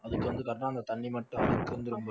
அதுக்கு வந்து correct டா அந்த தண்ணி மட்டும்